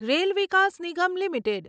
rail Vikas Nigam limited